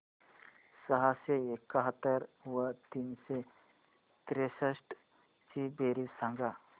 सहाशे एकाहत्तर व तीनशे त्रेसष्ट ची बेरीज सांगा